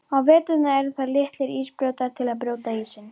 Á veturna eru það litlir ísbrjótar, til að brjóta ísinn.